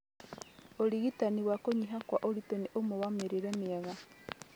ũrigitani ma kũnyiha kwa ũritũ nĩ ũmwe na mĩrĩre mĩega